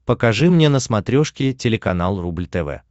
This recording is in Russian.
покажи мне на смотрешке телеканал рубль тв